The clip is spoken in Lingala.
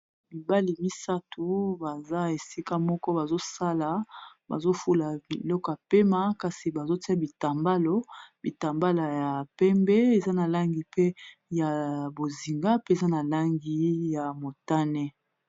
mibale misato baza esika moko bazosala bazofula miloka pema kasi bazotia bitambalo bitambalo ya pembe eza na langi pe ya bozinga pe eza na langi ya motane